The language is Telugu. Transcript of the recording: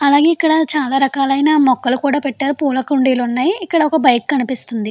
అలానే ఇప్పుడు చాలా రకాలైన మొక్కలు పెట్టారు. పూల కుండీలు ఉన్నాయి. ఇక్కడ ఒక బైక్ కనిపిస్తుంది.